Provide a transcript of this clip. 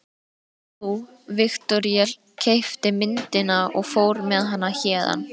Nú, Viktoría keypti myndina og fór með hana héðan.